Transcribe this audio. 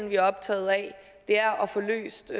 vi er optagede af det er at få løst